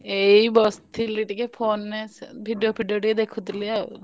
ଏଇ ବସିଥିଲି ଟିକେ phone ରେ ସେ video ଫିଡିଓ ଟିକେ ଦେଖୁଥିଲି ଆଉ।